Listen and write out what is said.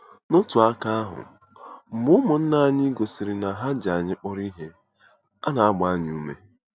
N'otu aka ahụ, mgbe ụmụnna anyị gosiri na ha ji anyị kpọrọ ihe, a na-agba anyị ume.